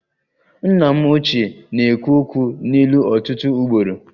Nna m ochie na-ekwu okwu n'ilu ọtụtụ ugboro